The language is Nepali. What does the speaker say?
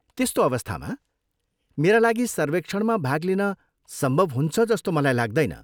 त्यस्तो अवस्थामा, मेरा लागि सर्वेक्षणमा भाग लिन सम्भव हुन्छ जस्तो मलाई लाग्दैन।